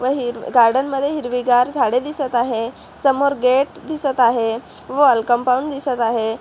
व हीर गार्डन मध्ये हिरवीगार झाडे दिसत आहे समोर गेट दिसत आहे वॉल कंपाऊंड दिसत आहे.